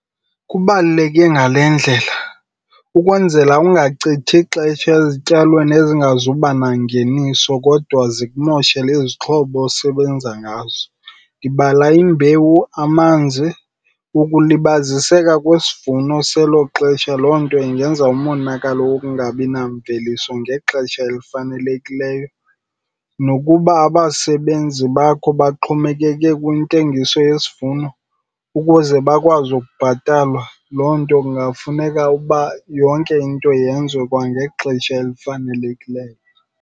Kubaluleke ngale ndlela. Ukwenzela ungachithi ixesha ezityalweni ezingazuba nangeniso kodwa zikumoshele izixhobo osebenza ngazo, ndibala imbewu, amanzi. Ukulibaziseka kwesivuno selo xesha, loo nto ingenza umonakalo ukungabi namveliso ngexesha elifanelekileyo. Nokuba abasebenzi bakho baxhomekeke kwintengiso yesivuno ukuze bakwazi ukubhatalwa, loo nto kungafuneka uba yonke into yenziwe kwangexesha elifanelekileyo.